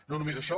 no només això